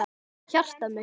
Hjartað mitt